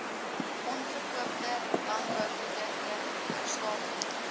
onverkoopte landbouprodukte herstapel